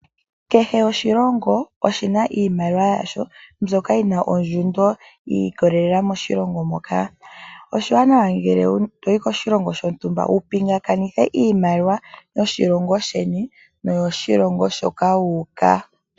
Kehe oshilongo oshina iimaliwa yaasho ndjoka yina ondjundo yiikololela moshilongo moka. Oshiwanawa ngele toyi koshilongo shontumba wupingakanithe oshimaliwa yoshilongo sheni noyo shilongo shoka wuuka.